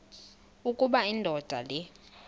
ukuba indoda le